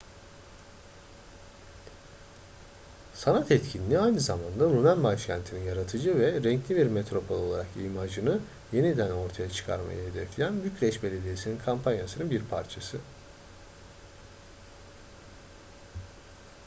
sanat etkinliği aynı zamanda rumen başkentinin yaratıcı ve renkli bir metropol olarak imajını yeniden ortaya çıkarmayı hedefleyen bükreş belediyesi'nin kampanyasının bir parçası